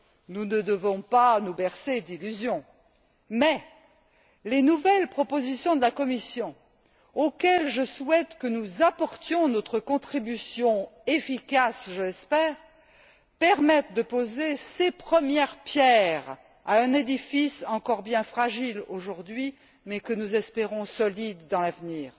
Nous ne devons pas nous bercer d'illusions, mais les nouvelles propositions de la Commission, auxquelles je souhaite que nous apportions notre contribution efficace, permettront, je l'espère, de poser ses premières pierres à un édifice encore bien fragile aujourd'hui mais que nous espérons solide dans l'avenir.